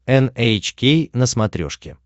эн эйч кей на смотрешке